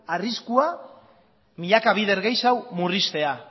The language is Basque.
arriskua milaka bider gehiago murriztea